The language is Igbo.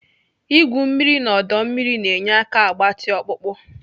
Igwu mmiri n'ọdọ mmiri na-enye aka agbatị ọkpụkpọ.